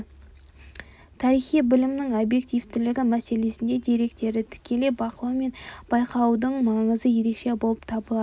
тарихи білімнің объективтілігі мәселесінде деректерді тікелей бақылау мен байқаудың маңызы ерекше болып табылады